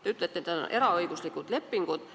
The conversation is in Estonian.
Te ütlete, et tegu on eraõiguslike lepingutega.